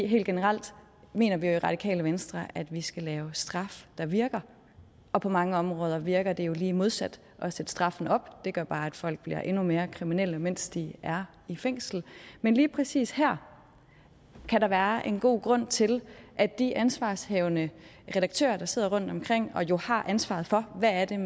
helt generelt mener vi jo i radikale venstre at vi skal lave straf der virker og på mange områder virker det jo lige modsat at sætte straffen op det gør bare at folk bliver endnu mere kriminelle mens de er i fængsel men lige præcis her kan der være en god grund til at de ansvarshavende redaktører der sidder rundtomkring og jo har ansvaret for hvad det er